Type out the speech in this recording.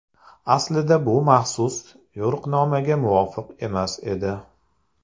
Aslida, bu maxsus yo‘riqnomaga muvofiq emas edi.